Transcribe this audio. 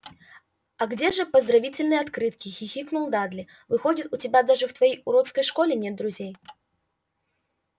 а где же поздравительные открытки хихикнул дадли выходит у тебя даже в твоей уродской школе нет друзей